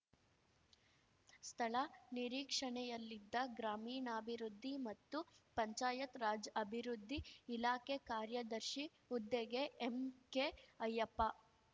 ಸ್ಥಳ ನಿರೀಕ್ಷಣೆಯಲ್ಲಿದ್ದ ಗ್ರಾಮೀಣಾಭಿವೃದ್ಧಿ ಮತ್ತು ಪಂಚಾಯತ್‌ ರಾಜ್‌ ಅಭಿವೃದ್ಧಿ ಇಲಾಖೆ ಕಾರ್ಯದರ್ಶಿ ಹುದ್ದೆಗೆ ಎಂಕೆ ಅಯ್ಯಪ್ಪ